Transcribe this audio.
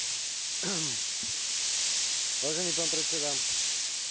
za jednu z priorít utečeneckej krízy považujem ochranu vonkajších hraníc.